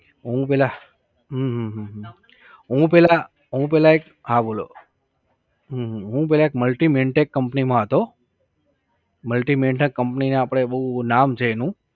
હું પહેલા હમ હમ હમ હમ હું પહેલા હું પહેલાએક હા બોલો હમ હમ હું પહેલાએક Multi maintech company માં હતો Multi maintech company આપણે બોવ નામ છે એનું